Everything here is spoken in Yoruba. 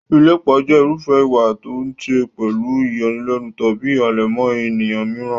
Ìlépa jẹ́ irúfẹ́ ìwà tó níí ṣe pẹ̀lú ìyọlẹ́nu tàbí ìhàlẹ̀ mọ́ ènìyàn mìíràn.